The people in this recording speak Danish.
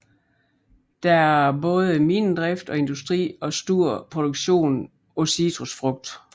Der er både minedrift og industri og stor produktion af citrusfrugt